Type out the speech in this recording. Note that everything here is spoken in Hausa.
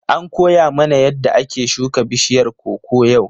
An koya mana yadda ake shuka bishiyar koko yau.